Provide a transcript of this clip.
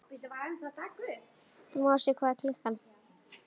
Mosi, hvað er klukkan?